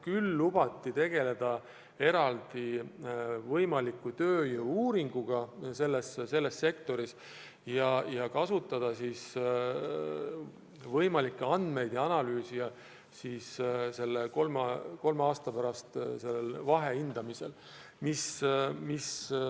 Küll lubati tegeleda eraldi tööjõu-uuringuga selles sektoris ja kasutada saadud andmeid kolme aasta pärast vahehindamisel.